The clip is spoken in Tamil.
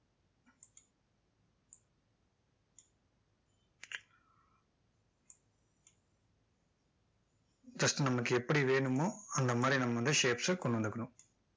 just நமக்கு எப்படி வேணுமோ அந்த மாதிரி நம்ம shapes ச கொண்டு வந்துக்கணும்